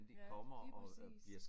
Ja lige præcis